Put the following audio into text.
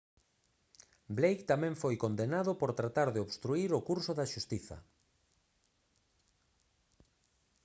blake tamén foi condenado por tratar de obstruír o curso da xustiza